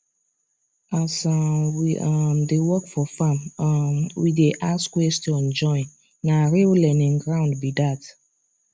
as um we um dey work for farm um we dey ask question join na real learning ground be that